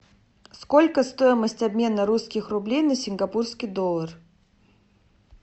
сколько стоимость обмена русских рублей на сингапурский доллар